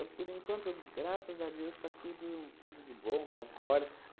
Eu, por enquanto, graças a Deus está tudo tudo de bom, com as glórias.